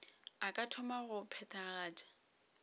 a ka thoma go phethagatša